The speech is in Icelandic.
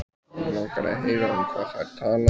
Mig langar að heyra um hvað þær tala.